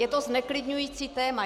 Je to zneklidňující téma.